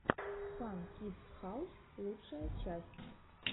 фан кидс хаус лучшая часть